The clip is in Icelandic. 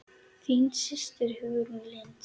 Þín systir Hugrún Lind.